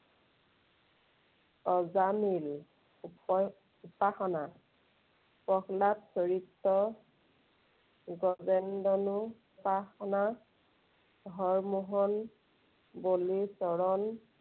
অজামিল উপা~ উপাসনা, প্ৰহ্লাদ চৰিত্ৰ, গজেন্দ্ৰনোপাসনা, হৰমোহন, বলিছলন